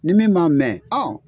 Ni min m'a mɛ